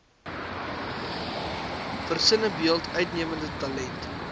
versinnebeeld uitnemende talent